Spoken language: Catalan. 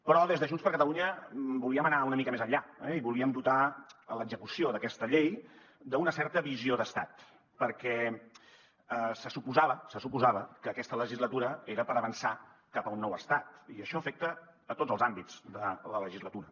però des de junts per catalunya volíem anar una mica més enllà i volíem dotar l’execució d’aquesta llei d’una certa visió d’estat perquè se suposava se suposava que aquesta legislatura era per avançar cap a un nou estat i això afecta a tots els àmbits de la legislatura